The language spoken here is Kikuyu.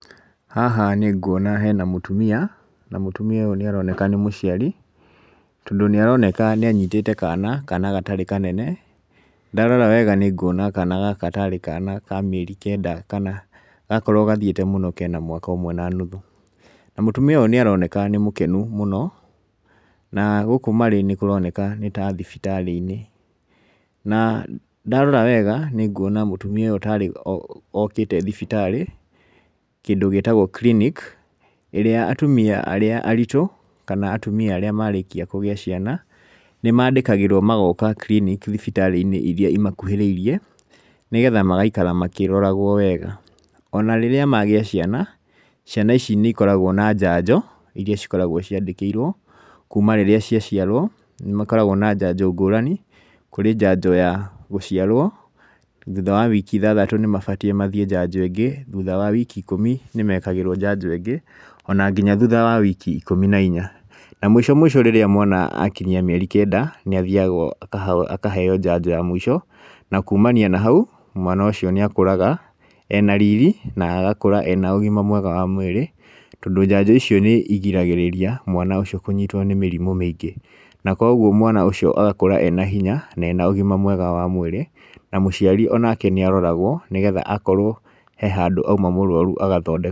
Haha nĩnguona hena mũtumia, na mũtumia ũyũ nĩaroneka nĩ mũciari, tondũ nĩaroneka nĩanyitĩte kana, kana gatarĩ kanene. Ndarora wega nĩnguona kana gaka tarĩ kana ka mĩeri kenda kana gakorwo gathiĩte mũno kena mwaka ũmwe na nuthu. Na mũtumia ũyũ nĩaroneka nĩ mũkenu mũno, na gũkũ marĩ nĩkũroneka nĩ ta thibitarĩ-inĩ. Na ndarora wega nĩnguona mũtumia ũyũ tarĩ okĩte thibitarĩ, kĩndũ gĩtagwo clinic, ĩrĩa atumia arĩa aritũ kana atumia arĩa marĩkia kũgĩa ciana, nĩmandĩkagĩrwo magoka clinic thibitarĩ-inĩ iria imakuĩrĩirie nĩgetha magaikara makĩroragwo wega. Ona rĩrĩa magĩa ciana, ciana ici nĩikoragwo na njanjo, iria cikoragwo ciandĩkĩirwo kuma rĩrĩa cia ciarwo nĩmakoragwo na njanjo ngũrani. Kũrĩ njanjo ya gũciarwo, thutha wa wiki ithathatũ nĩmabatiĩ mathiĩ njanjo ĩngĩ, thutha wa wiki ikũmi nĩmekagĩrwo njanjo ĩngĩ, ona nginya thutha wa wiki ikũmi na inya. Na mũico mũico rĩrĩa mwana akinyia mĩeri kenda níĩthiagwo akaheo njanjo ya mũico, na kumania na hau, mwana ũcio nĩakũraga ena riri na agakũra ena ũgima mwega wa mwĩrĩ, tondũ njanjo icio nĩigiragĩrĩria mwana ũcio kũnyitwo nĩ mĩrimũ mĩingĩ. Na kuoguo mwana ũcio agakũra ena hinya na ena ũgima mwega wa mwĩrĩ na mũciari onake nĩaroragwo nĩgetha akorwo he handũ auma mũrwaru agathondekwo.